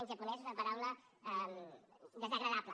en japonès és una paraula desagradable